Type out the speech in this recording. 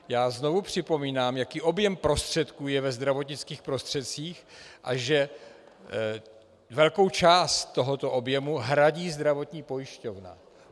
Já znovu připomínám, jaký objem prostředků je ve zdravotnických prostředcích a že velkou část tohoto objemu hradí zdravotní pojišťovna.